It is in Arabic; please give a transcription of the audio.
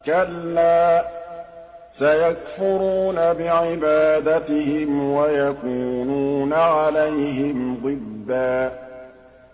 كَلَّا ۚ سَيَكْفُرُونَ بِعِبَادَتِهِمْ وَيَكُونُونَ عَلَيْهِمْ ضِدًّا